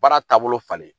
Baara taabolo falen